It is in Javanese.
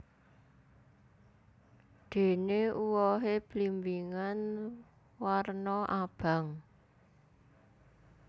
Dene uwohe blimbingan warna abang